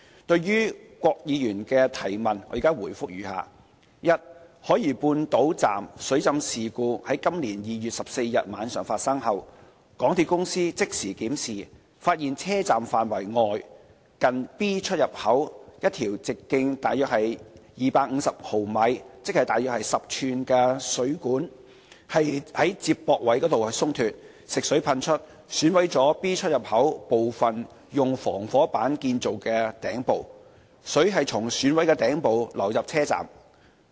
對於郭議員的質詢，我現答覆如下：一海怡半島站水浸事故今年2月14日晚上發生後，港鐵公司即時檢視，發現車站範圍外，近 B 出入口一條直徑約250毫米食水管，接駁位鬆脫，食水噴出，損毀了 B 出入口部分用防火板建造的頂部，水從損毀的頂部流入車站。